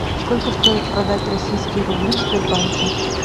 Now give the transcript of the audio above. сколько стоит продать российские рубли в сбербанке